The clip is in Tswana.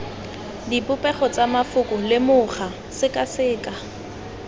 dipopego tsa mafoko lemoga sekaseka